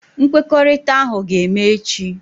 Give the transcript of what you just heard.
Nkwekọrịta ahụ ga-eme echi.